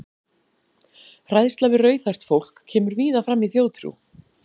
Hræðsla við rauðhært fólk kemur víða fram í þjóðtrú.